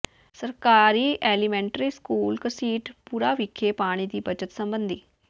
ਸਰਕਾਰੀ elementary school Ghasitpura ਵਿਖੇ ਪਾਣੀ ਦੀ ਬੱਚਤ ਸਬੰਧੀ